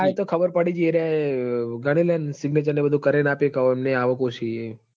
એતો ખબર પડી જઈ એરાય ગનીલેણ signature બધું કરીન આપી આમની આવક ઓછી હ